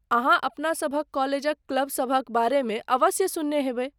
अहाँ अपना सभक कॉलेजक क्लब सभक बारेमे अवश्य सुनने हैब।